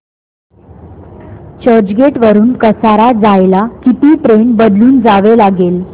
चर्चगेट वरून कसारा जायला किती ट्रेन बदलून जावे लागेल